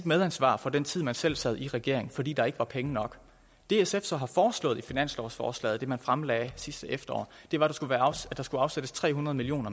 medansvar for den tid man selv sad i regering fordi der ikke var penge nok det sf så har foreslået i finanslovsforslaget det man fremlagde sidste efterår var at der skulle afsættes tre hundrede million